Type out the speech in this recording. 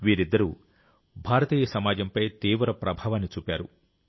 వీరిద్దరూ భారతీయ సమాజంపై తీవ్ర ప్రభావాన్ని చూపారు